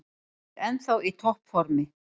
Hann er ennþá í topp formi.